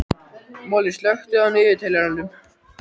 Moli, slökktu á niðurteljaranum.